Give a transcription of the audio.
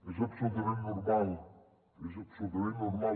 és absolutament normal és absolutament normal